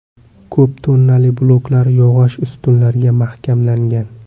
Ko‘p tonnali bloklar yog‘och ustunlarga mahkamlangan.